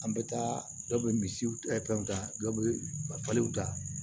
An bɛ taa dɔ bɛ misiw fɛnw ta dɔ bɛ falen ta